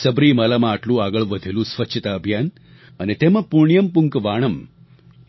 સબરીમાલામાં આટલું આગળ વધેલું સ્વચ્છતા અભિયાન અને તેમાં પુણ્યમ પુન્કવાણમ